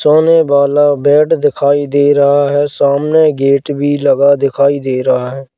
सामने वाला बेड दिखाई दे रहा है सामने गेट भी लगा दिखाई दे रहा है।